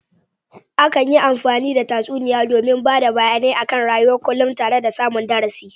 Akan yi amfani da tsatsuniya domin bada bayane a kan rayuwan kunlum tara da samun darasa